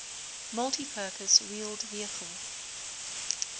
multipurpose wheeled vehicle